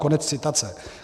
Konec citace.